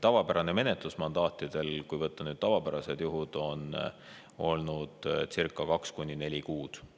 Tavapärane menetlus mandaatide puhul, kui võtta nüüd tavapärased juhud, on olnud circa kaks kuni neli kuud.